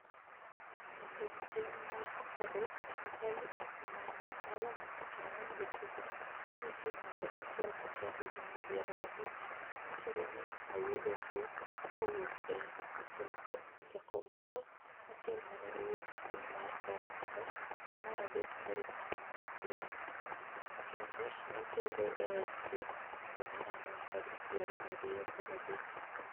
Jatend piny ma komoros Azali Assoumani, nolando tich ang'wen gokinyi ni nitie ng'ato achiel ma ja higni piero abich wachore ni ne oyudo tuwo kowuok e jakomoro achiel mane owuok e piny mar faransa dwe mar adek tarik apar gi aboro, kende notere e od thieth dwe mar ang’wen tarik piero ariyo kod adek